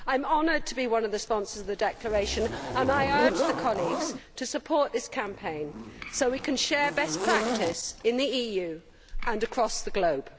I am honoured to be one of the sponsors of the declaration and I urge colleagues to support this campaign so we can share best practice in the EU and across the globe.